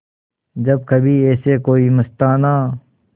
जब कभी ऐसे कोई मस्ताना